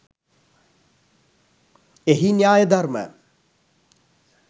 එහි න්‍යාය ධර්ම